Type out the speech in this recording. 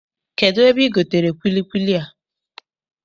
Kedụ ebe I gotere kwilikwili a?